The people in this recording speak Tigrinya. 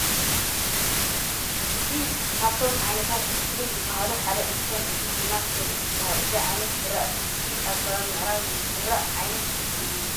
እዚ ካብቶም ዓይነታት እክሊ ዝባሃሊ ሓደ እንትኮን እዚ ድማ ሰሊጥ ይበሃል። እዚ ዓይነት ዝራእቲ እዚ ኣብ ከባቢ ምዕራብ ዝዝራእ ዓይናት እክሊ እዩ።